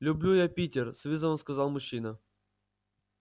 люблю я питер с вызовом сказал мужчина